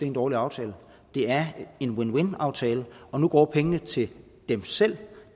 en dårlig aftale det er en win win aftale og nu går pengene til dem selv